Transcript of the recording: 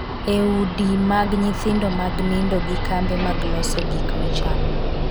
e udi mag nyithindo mag nindo gi kambe mag loso gik michamo